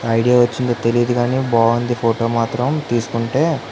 Idea వచ్చిదో తెలియదు కానీ. బాగుంది ఫోటో మాత్రం తీసుకుంటే --